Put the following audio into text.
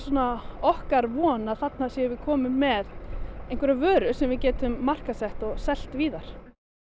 okkar von að þarna séum við komin með einhverja vöru sem við getum markaðssett og selt víðar